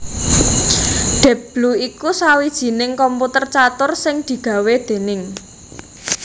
Deep Blue iku sawijining komputer catur sing digawé déning